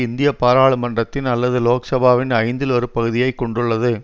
இந்திய பாராளுமன்றத்தின் அல்லது லோக் சபாவின் ஐந்தில் ஒரு பகுதியை கொண்டுள்ளது